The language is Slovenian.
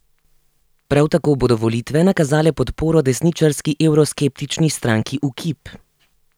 Prav tako bodo volitve nakazale podporo desničarski evroskeptični stranki Ukip.